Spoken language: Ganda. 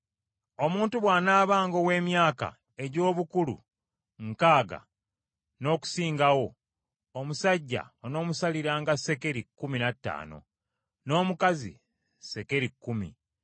Omuntu bw’anaabanga ow’emyaka egy’obukulu nkaaga n’okusingawo, omusajja onoomusaliranga sekeri kkumi na ttaano n’omukazi sekeri kkumi.